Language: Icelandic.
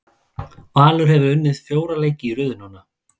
Valur hefur unnið fjóra leiki í röð núna.